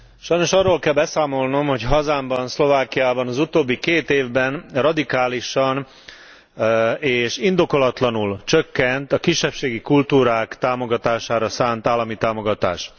Sajnos arról kell beszámolnom, hogy hazámban, Szlovákiában az utóbbi két évben radikálisan és indokolatlanul csökkent a kisebbségi kultúrák támogatására szánt állami támogatás.